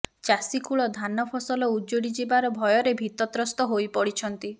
ଚାଷୀକୁଳ ଧାନ ଫସଲ ଉଜୁଡି ଯିବାର ଭୟରେ ଭୀତତ୍ରସ୍ତ ହୋଇପଡିଛନ୍ତି